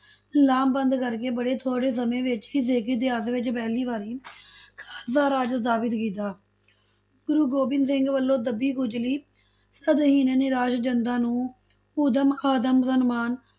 ਲਾਮਬੰਦ ਕਰਕੇ ਬੜੇ ਥੋੜ੍ਹੇ ਸਮੇਂ ਵਿੱਚ ਹੀ ਸਿੱਖ ਇਤਿਹਾਸ ਵਿੱਚ ਪਹਿਲੀ ਵਾਰੀ ਖਾਲਸਾ ਰਾਜ ਸਥਾਪਿਤ ਕੀਤਾ, ਗੁਰੂ ਗੋਬਿੰਦ ਸਿੰਘ ਵੱਲੋਂ ਦੱਬੀ ਕੁਚਲੀ ਸਤਹੀਣ ਨਿਰਾਸ਼ ਜਨਤਾ ਨੂੰ ਉਦਮ, ਆਤਮ ਸਨਮਾਨ